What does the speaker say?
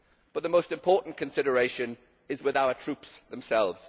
But the most important consideration lies with our troops themselves.